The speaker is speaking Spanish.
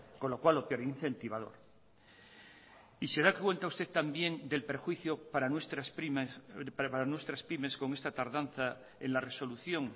con lo cual lo que incentivador y se da cuenta usted también del perjuicio para nuestras pymes con esta tardanza en la resolución